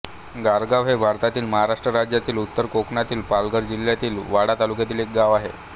गारगाव हे भारतातील महाराष्ट्र राज्यातील उत्तर कोकणातील पालघर जिल्ह्यातील वाडा तालुक्यातील एक गाव आहे